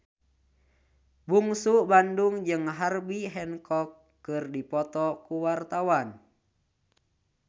Bungsu Bandung jeung Herbie Hancock keur dipoto ku wartawan